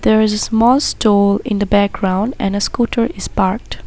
There is a small store in the background and a scooter is parked.